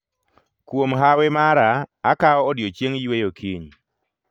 Kuom hawi mara akao odiechieng' yweyo kiny